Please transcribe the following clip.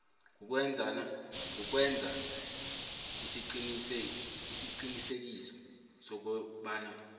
kukwenza isiqiniseko sokobana